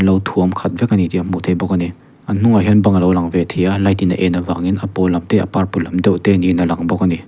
an lo thuam khat vek a ni tih a hmuh theih bawk a ni an hnungah hian bang a lo lang ve thei a light in a en avangin a pawl lam te a purple lam deuh te niin a lang bawk a ni.